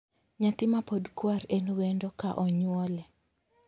Nyathi mapod kwar en wendo ka onywole.